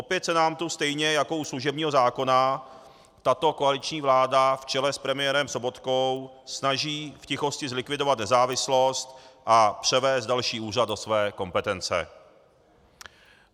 Opět se nám tu, stejně jako u služebního zákona, tato koaliční vláda v čele s premiérem Sobotkou snaží v tichosti zlikvidovat nezávislost a převést další úřad do své kompetence.